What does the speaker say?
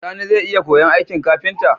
Sani zai iya koyan aikin kafinta?